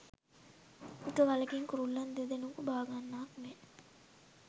එක ගලකින් කුරුල්ලන් දෙදෙනකු බාගන්නාක් මෙන්